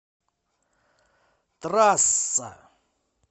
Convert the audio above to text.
трасса